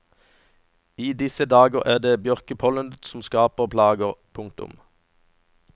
I disse dager er det bjørkepollenet som skaper plager. punktum